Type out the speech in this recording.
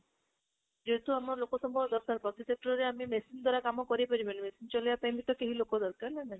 ଯେହେତୁ ଆମର ଲୋକ ସମ୍ବଳ ଦରକାର, ପ୍ରତି sector ରେ ଆମେ machine ଦ୍ୱାରା କାମ କରେଇ ପାରିବେନି machine ଚଳେଇବା ପାଇଁ ବି ତ ଲୋକ ଦରକାର ନା ନାହିଁ?